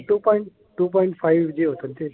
To point G होतं ते.